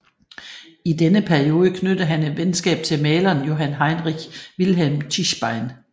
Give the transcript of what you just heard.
I denne periode knyttede han et venskab til maleren Johann Heinrich Wilhelm Tischbein